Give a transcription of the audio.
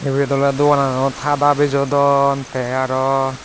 ebet ole dogana not hada bijodon te aro.